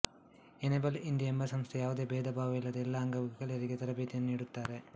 enable India ಎಂಬ ಸಂಸ್ಥೆ ಯಾವುದೇ ಭೇಧ ಭಾವವಿಲ್ಲದೆ ಎಲ್ಲಾ ಅಂಗವಿಕಲರಿಗೆ ತರಭೇತಿಯನ್ನು ನೀಡುತ್ತಾರೆ